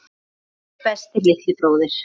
Elsku besti litli bróðir.